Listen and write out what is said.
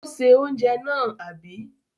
Ó se oúnjẹ náà, àbí?